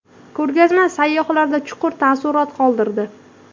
Ko‘rgazma sayyohlarda chuqur taassurot qoldirdi.